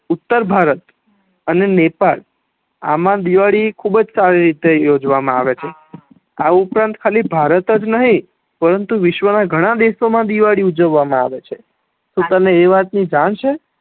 ઉતર ભારત અને નેપાળ આમા દિવાળી ખુબજ સારી રીતે યોજવા મા આવે છ આ ઉપરાંત ખાલી ભારત જ નહિ પરંતુ વિશ્વ ના ગણા દેશો મા દિવાળી ઉજવવા મા આવે છે તો તને એ વાત ની જાણ છે